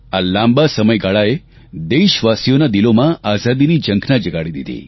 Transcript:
આ લાંબા સમયગાળાએ દેશવાસીઓનાં દિલોમાં આઝાદીની ઝંખના જગાડી દીધી